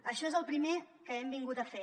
això és el primer que hem vingut a fer